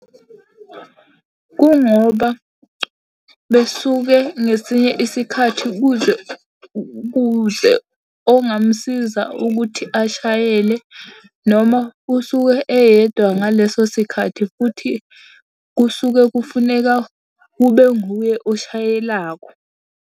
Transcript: Kungoba besuke ngesinye isikhathi kuze kuze ongamsiza ukuthi ashayele noma usuke eyedwa ngaleso sikhathi futhi kusuke kufuneka kube nguye oshayelakho.